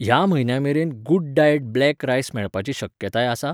ह्या म्हयन्या मेरेन गुडडाएट ब्लॅक रायस मेळपाची शक्यताय आसा ?